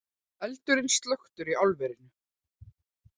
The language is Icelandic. Eldurinn slökktur í álverinu